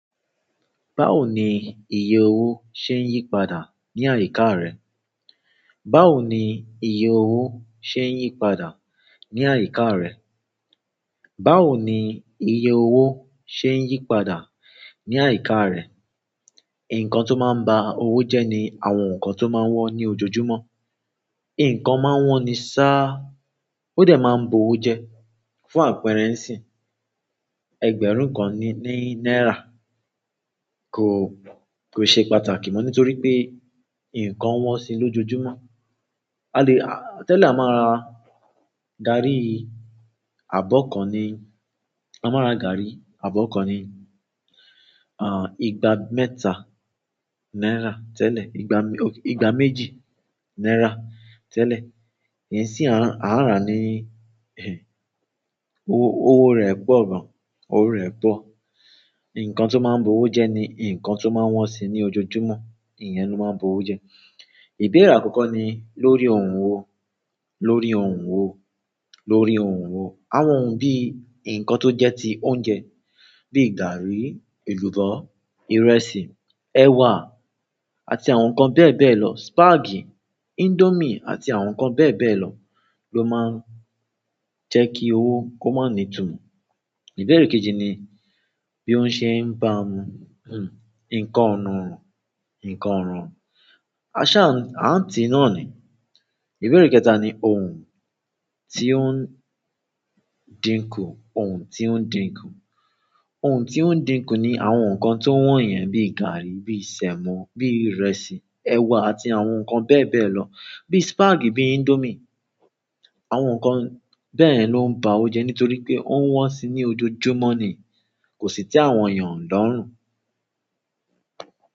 Báwo ni iye owó ṣe ń yípadà ní àyíká rẹ̀? Báwo ni iye owó ṣe ń yípadà ní àyíká rẹ̀? Báwo ni iye owó ṣe ń yípadà ní àyíká rẹ̀? Ǹkan tó máa ń ba owó jẹ́ ni àwọn nǹkan tó máa ń wọ́n ní ojoojúmọ́. Ǹkan máa ń wọ́n ni sá, ó dẹ̀ máa ń bu owó jẹ. Fún àpẹẹrẹ níìsín, ẹgbẹ̀rún kan ní náírà kò, kò ṣe pàtàkì mọ́ nítorí pé ǹkan wọ́n sì lójoojúmọ́. A lẹ̀, a tẹ́lẹ̀ a máa ra gàárì àbọ́ kan ní, a máa ra gàárì àbọ́ kan ní, ah, ìgbà mẹ́ta náírà. Tẹ́lẹ̀ ìgbà mẹ, ìgbà méjì náírà. Tẹ́lẹ̀ ní sì a máa rà á ní, eh, owó rẹ̀ pọ̀ gan. Owó rẹ̀ bọ̀. Ǹkan tó máa ń bo owó jẹ́ ni ǹkan tó máa ń wọ́n sì ní ojoojúmọ́, ìyẹn ló máa ń bo owó jẹ́. Ìbéra akoko ni lórí òhun wo, lórí òhun wo, lórí òhun wo. Àwọn ohun bí ǹkan tó jẹ́ ti oúnjẹ bíi gàárì, èlùbọ́, ìrèsi, ẹ̀wà àti àwọn nǹkan bẹ́ẹ̀ bẹ́ẹ̀ lọ. Spàgì, índómì àti àwọn nǹkan bẹ́ẹ̀ bẹ́ẹ̀ lọ ló máa ń jẹ́ kí owó kó máa ní ìtùmo. Ìbérè kejì ni bí wóń ṣe ń ba, hm, ǹkan ọ̀nà, ǹkan ọ̀ràn. A ṣà, a n ti nani. Ìbérè kẹ́ta ni ohun tí ó ń dínkù, ohun tí ó ń dínkù. Ohun tí ó ń dínkù ni àwọn nǹkan tó wọ́n yẹn bíi gàárì, bíi sẹ̀mọ́, bíi ìrẹsì, ẹ̀wà àti àwọn nǹkan bẹ́ẹ̀ bẹ́ẹ̀ lọ bíi spàgì, bíi índómì. Àwọn nǹkan bẹ́ẹ̀ ló ń ba owó jẹ́ nítorí pé ó ń wọ́n sì ní ojoojúmọ́ ni, kò sì te àwọn èèyàn lọ́rùn.